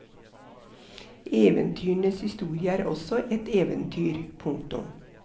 Eventyrenes historie er også et eventyr. punktum